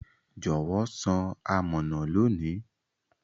Jọwọ san amọna loni.